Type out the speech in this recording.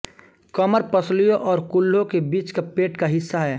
कमर पसलियों और कूल्हों के बीच का पेट का हिस्सा है